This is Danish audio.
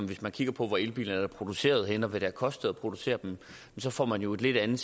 hvis man kigger på hvor elbiler er produceret henne og hvad det koster at producere dem så får man jo et lidt andet